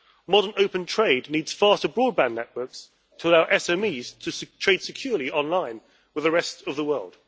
Modern open trade needs faster broadband networks to allow SMEs to trade securely online with the rest of the world.